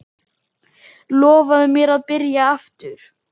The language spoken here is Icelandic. Lofaðu mér að byrja aftur!